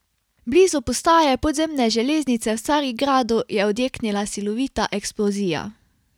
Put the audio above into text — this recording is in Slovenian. Blizu postaje podzemne železnice v Carigradu je odjeknila silovita eksplozija.